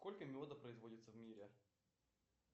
сколько меда производится в мире